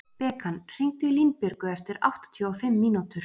Bekan, hringdu í Línbjörgu eftir áttatíu og fimm mínútur.